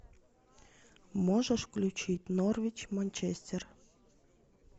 можешь включить норвич манчестер